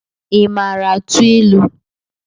Ị maara atụ ịlụ?